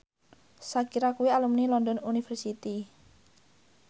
Shakira kuwi alumni London University